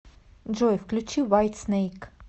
джой включи уайтснейк